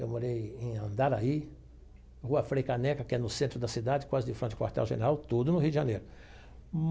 Eu morei em Andaraí, Rua Frei Caneca, que é no centro da cidade, quase de frente com o quartel general, tudo no Rio de Janeiro.